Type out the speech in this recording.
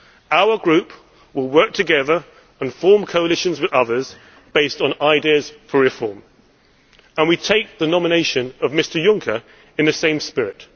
Our group will work together and form coalitions with others based on ideas for reform, and we take the nomination of Mr Juncker in the same spirit.